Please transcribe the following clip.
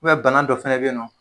U bana dɔ fana bɛ yen nɔ.